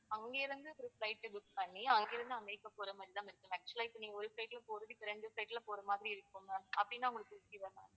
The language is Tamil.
அங்கிருந்து ஒரு flight book பண்ணி அங்கிருந்து அமெரிக்க போற மாதிரி தான் ma'am actual ஆ ஒரு flight ல போறதுக்கு ரெண்டு flight ல போற மாதிரி இருக்கும் ma'am அப்படின்னா உங்களுக்கு okay வா ma'am